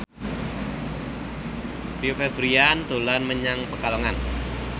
Rio Febrian dolan menyang Pekalongan